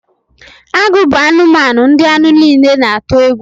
Agụ bụ anụmanụ ndị anụ niile na-atu egwu